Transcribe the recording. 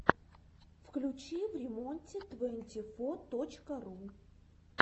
включи времонте твэнти фо точка ру